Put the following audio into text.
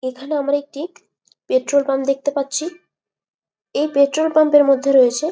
এখানে আমরা একটি পেট্রোল পাম্প দেখতে পাচ্ছি। এই পেট্রোল পাম্প এর মধ্যে রয়েছে--